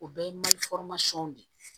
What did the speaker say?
O bɛɛ ye de ye